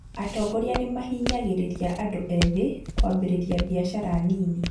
Atongoria nĩmahinyagĩrĩria andũ ethĩ kwambĩrĩria biacara nini